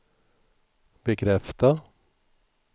bekräfta